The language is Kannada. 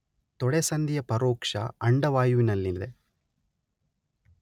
ತೊಡೆಸಂದಿಯ ಪರೋಕ್ಷ ಅಂಡವಾಯುವಿನಲ್ಲಿದೆ